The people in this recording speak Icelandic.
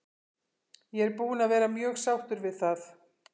Ég er búinn að vera mjög sáttur við það.